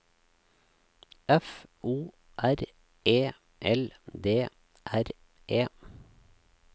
F O R E L D R E